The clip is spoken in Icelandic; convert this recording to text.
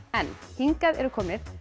hingað eru komnir